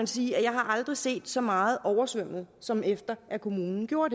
sige at jeg aldrig har set så meget oversvømmet som efter at kommunen gjorde